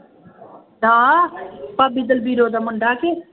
ਨਾ ਭਾਬੀ ਦਲਬੀਰੋ ਦਾ ਮੁੰਡਾ ਕੇ